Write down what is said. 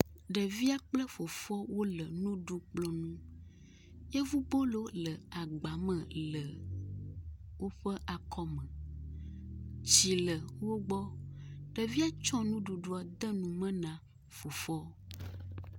Ɖevia kple fofoa wo le nuɖukplɔ nu. yevubolo le agba me le woƒe akɔme. tsi le wo gbɔ. Ŋevia tsɔ nuɖuɖua de nu me na fofoa.